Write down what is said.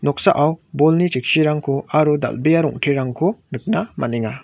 noksao bolni cheksirangko aro dal·bea rong·terangko nikna man·enga.